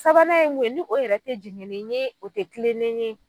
Sabanan mun ye ni o yɛrɛ tɛ jɛngɛnen ye o tɛ kilennen ye.